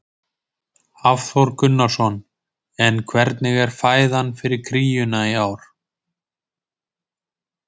Hafþór Gunnarsson: En hvernig er fæðan fyrir kríuna í ár?